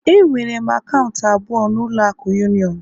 Enwere m akaụntụ abụọ na ụlọ akụ union